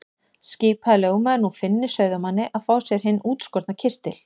Skipaði lögmaður nú Finni sauðamanni að fá sér hinn útskorna kistil.